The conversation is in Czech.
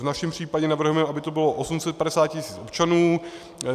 V našem případě navrhujeme, aby to bylo 850 tisíc občanů.